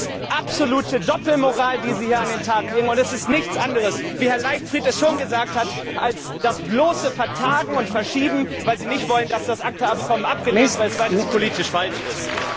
Das ist absolute Doppelmoral, die Sie hier an den Tag legen, und es ist nichts anderes wie Herr Leichtfried schon gesagt hat als das bloße Vertagen und Verschieben, weil Sie nicht wollen, dass das ACTA Abkommen abgelehnt wird, weil es politisch falsch ist.